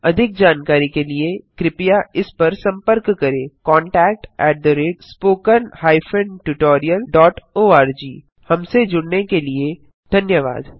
अधिक जानकारी के लिए कृपया इस पर संपर्क करें contactspoken tutorialorg हमसे जुड़ने के लिए धन्यवाद